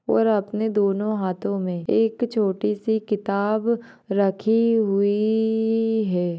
और अपने दोनों हाथों मे एक छोटीसी किताब रखी हुई है।